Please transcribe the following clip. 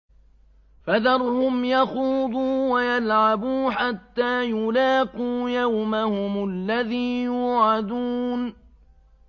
فَذَرْهُمْ يَخُوضُوا وَيَلْعَبُوا حَتَّىٰ يُلَاقُوا يَوْمَهُمُ الَّذِي يُوعَدُونَ